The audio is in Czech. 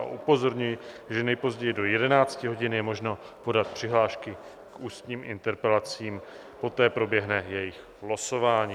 A upozorňuji, že nejpozději do 11 hodin je možno podat přihlášky k ústním interpelacím, poté proběhne jejich losování.